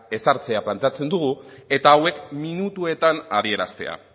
ezartzea planteatzen dugu eta hauek minutuetan adieraztea